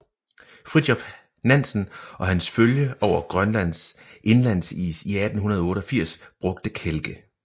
Fridtjof Nansen og hans følge over Grønlands indlandsis i 1888 brugte kælke